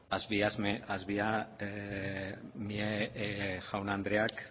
asviamieko jaun andreak